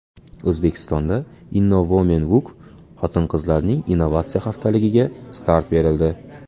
O‘zbekistonda Innowomenweek xotin-qizlarning innovatsiya haftaligiga start berildi .